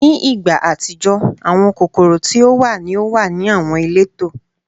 Ni igba atijọ, awọn kokoro ti o wa ni o wa ni awọn ileto